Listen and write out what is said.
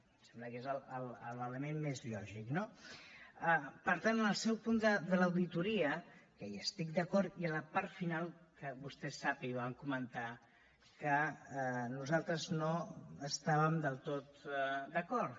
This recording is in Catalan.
em sembla que és l’element més lògic no per tant en el seu punt de l’auditoria que hi estic d’acord hi ha la part final que vostè ho sap i ho vam comentar nosaltres no estàvem del tot d’acord